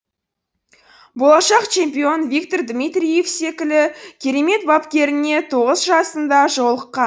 болашақ чемпион виктор дмитриев секілі керемет бапкеріне тоғыз жасында жолыққан